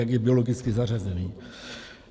Jak je biologicky zařazen.